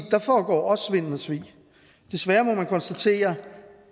der foregår også svindel og svig desværre må man konstatere